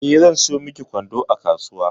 Eh, zan sayo miki kwando a kasuwa.